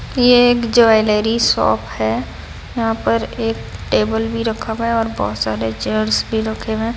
ये एक jewellery shop है यहां पर एक टेबल भी रखा हुआ है और बहुत सारे चेयर्स भी रख हुए हैं।